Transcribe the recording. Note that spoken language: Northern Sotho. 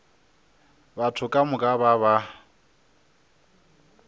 batho ka moka ba ba